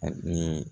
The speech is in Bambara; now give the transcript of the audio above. A ni